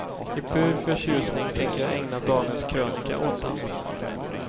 I pur förtjusning tänker jag ägna dagens krönika åt den.